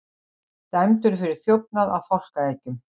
Dæmdur fyrir þjófnað á fálkaeggjum